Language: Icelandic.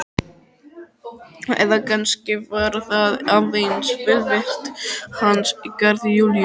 Eða kannski var það aðeins velvild hans í garð Júlíu.